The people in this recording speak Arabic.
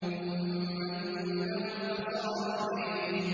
ثُمَّ إِنَّهُمْ لَصَالُو الْجَحِيمِ